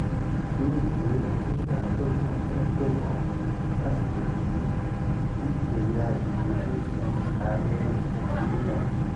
yóò tó ọdún mẹẹẹdọgbọn mẹẹẹdọgbọn sásìkò yìí kí ẹyà igbó tóó di ààrẹ nàìjíríà